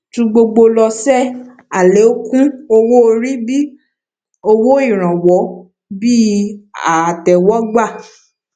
ju gbogbo lọ ṣe alekun owó orí bí owó ìrànwọ bíi àtéwógbà